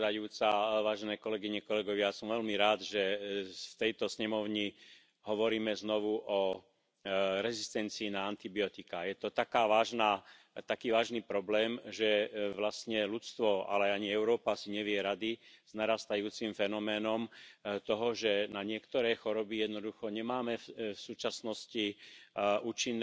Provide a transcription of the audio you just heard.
Yo creo que, igual que hay que hacer esto y hay que seguir insistiendo en ello, hay que hacer también algo más —lo conozco menos— sobre el tema del antibiótico y su uso en humanos. Pero como eso lo conozco menos, procuro no hablar de lo que no sé y sí hablar de lo que sé, que, en el caso de sanidad animal, estos años han sido